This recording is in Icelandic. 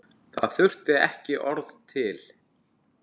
Það þurfti ekki orð til.